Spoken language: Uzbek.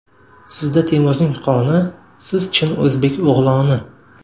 Sizda Temurning qoni, Siz chin O‘zbek o‘g‘loni.